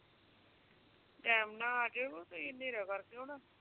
time ਨਾਲ ਆ ਜਾਇਓ ਤੁਹੀ ਹਨੇਰਾ ਕਰ ਕੇ ਆਉਣਾ